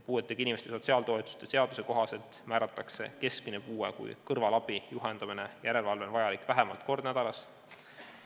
Puuetega inimeste sotsiaaltoetuste seaduse kohaselt määratakse keskmine puue siis, kui kõrvalabi, juhendamine või järelevalve on vajalik vähemalt kord nädalas.